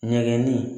Ɲɛgɛnni